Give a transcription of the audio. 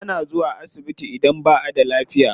Ana zuwa asibiti idan ba a da lafiya.